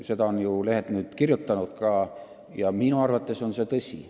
Seda on ka meie lehed kirjutanud ja minu arvates on see tõsi.